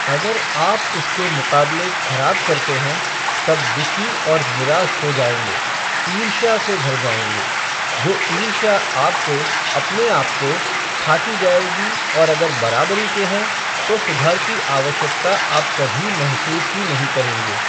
अगर आप उसके मुक़ाबले खराब करते हैं, तब दुखी और निराश हो जाएँगे, ईर्ष्या से भर जाएँगे, जो ईर्ष्या आपको, अपने आप को, खाती जाएगी और अगर बराबरी के हैं, तो सुधार की आवश्यकता आप कभी महसूस ही नहीं करोगे।